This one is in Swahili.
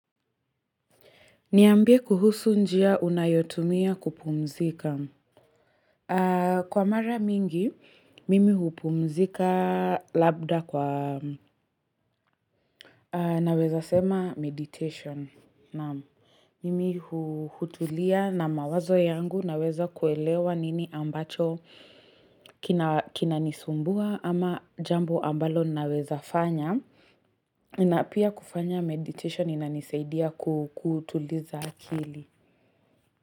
Niambie kuhusu njia unayotumia kupumzika. Kwa mara mingi, mimi hupumzika labda kwa naweza sema meditation. Mimi hutulia na mawazo yangu naweza kuelewa nini ambacho kina nisumbua ama jambo ambalo naweza fanya. Na pia kufanya meditation inanisaidia kutuliza akili.